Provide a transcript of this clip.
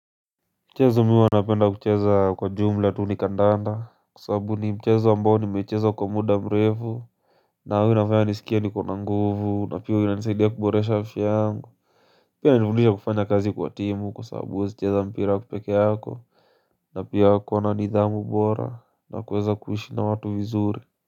Mchezo mi huwa napenda kucheza kwa jumla tu ni kandanda kwa sababu ni mchezo ambao nimeicheza kwa muda mrefu, na huwa inafaya nisikie niko na nguvu na pia inanisaidia kuboresha afya yangu. Pia inanifundisha kufanya kazi kwa timu kwa sababu huwezi cheza mpira peke yako. Na pia wako na nidhamu bora na kuweza kuishi na watu vizuri.